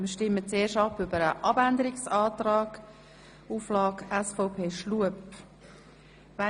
Zuerst stimmen wir über den Abänderungsantrag, SVP Schlup ab.